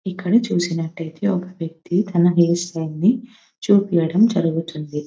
ఇక్కడ చేసినట్టయితే ఒక వ్యక్తి తన హెయిర్ స్టైల్ ని చూపియటం జరుగుతుంది.